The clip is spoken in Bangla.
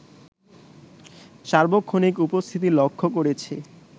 সার্বক্ষণিক উপস্থিতি লক্ষ করেছি